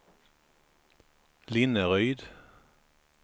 Linneryd